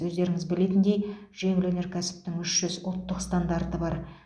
өздеріңіз білетіндей жеңіл өнеркәсіптің үш жүз ұлттық стандарты бар